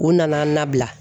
U nana an nabila.